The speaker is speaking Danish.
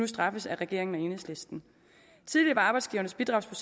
straffet af regeringen og enhedslisten arbejdsgivernes bidrag